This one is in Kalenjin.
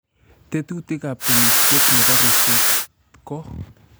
Tetutikab temisiet nebo ripset ko: